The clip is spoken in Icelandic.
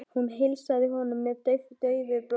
Hún heilsaði honum með daufu brosi.